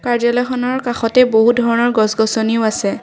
এখনৰ কাষতে বহুত ধৰণৰ গছ-গছনিও আছে।